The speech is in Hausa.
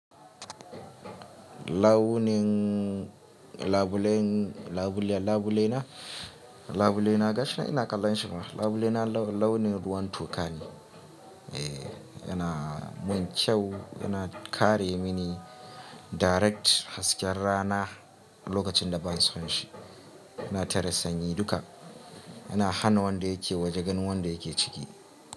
Lawuning, labulen, labule, labulena, labulena gashi ina kallon shi ma. Labulena launin ruwan tokane. Eh, yana mun kyau, yana kare mini direct hasken rana lokacin da ban so shi. Yana tare sanyi duka. Yana hana wanda yake waje ganin wanda yake ciki.